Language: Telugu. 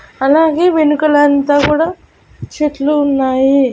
అలాగే వెనుకల అంతా కూడా చెట్లు ఉన్నాయి.